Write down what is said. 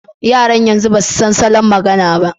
Yaran yanzu ba su san salon magana ba.